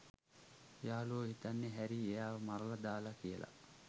යාළුවෝ හිතන්නේ හැරී එයාව මරලා දාලා කියලා.